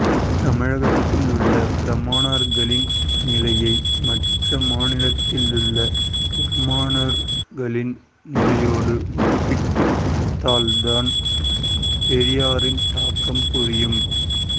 தமிழகத்தில் உள்ள பிராமணர்களின் நிலையை மற்ற மாநிலத்தில் உள்ள பிராமணர்களின் நிலையோடு ஒப்பிட்டு பார்த்தால் பெரியாரின் தாக்கம் புரியும்